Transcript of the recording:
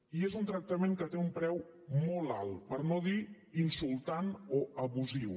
i és un tractament que té un preu molt alt per no dir insultant o abusiu